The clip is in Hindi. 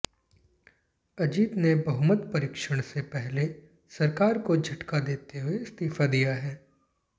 अजित ने बहुमत परीक्षण से पहले सरकार को झटका देते हुए इस्तीफा दिया है